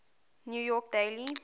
new york daily